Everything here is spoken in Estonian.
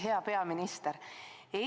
Hea peaminister!